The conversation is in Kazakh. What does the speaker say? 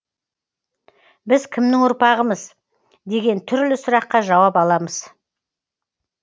біз кімнің ұрпағымыз деген түрлі сұраққа жауап аламыз